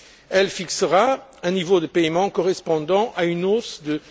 Elle fixera un niveau de paiements correspondant à une hausse de